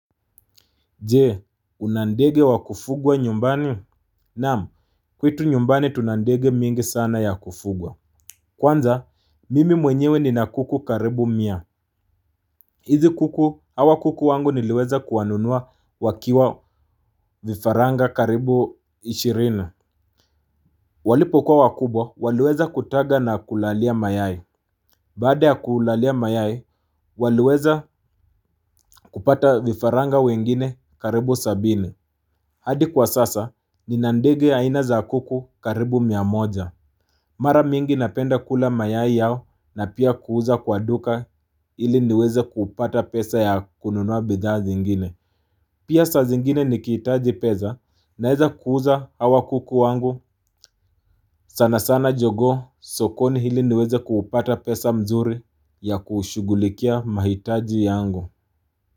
Jee, una ndege wa kufugwa nyumbani? Naam, kwetu nyumbani tuna ndege mingi sana ya kufugwa. Kwanza, mimi mwenyewe nina kuku karibu mia. Hizi kuku, hawa kuku wangu niliweza kuwanunua wakiwa vifaranga karibu ishirini. Walipo kuwa wakubwa, waliweza kutaga na kulalia mayai. Baada ya kulalia mayai, waliweza kupata vifaranga wengine karibu sabini. Hadi kwa sasa, nina ndege aina za kuku karibu mia moja. Mara mingi napenda kula mayai yao na pia kuuza kwa duka ili niweze kupata pesa ya kununua bidhaa zingine. Pia saa zingine nikihitaji pesa naeza kuuza hawa kuku wangu sana sana jogoo sokoni ili niweze kupata pesa mzuri ya kushughulikia mahitaji yangu.